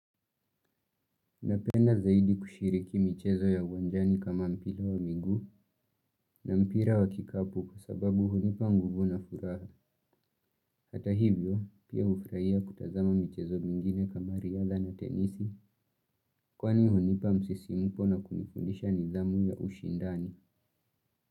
Napenda zaidi kushiriki michezo ya uwanjani kama mpila wa miguu na mpira wa kikapu kwa sababu hunipa nguvu na furaha. Hata hivyo pia hufuraia kutazama michezo mingine kama riadha na tenisi kwani hunipa msisimuko na kunifundisha nidhamu ya ushindani.